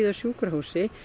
á sjúkrahúsi